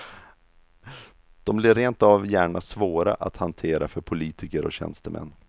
De blir rent av gärna svåra att hantera för politiker och tjänstemän.